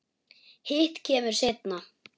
Hitt kemur seinna.